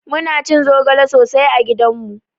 Muna cin zogale sosai a gidanmu